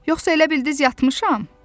Yoxsa elə bildiz yatmışam?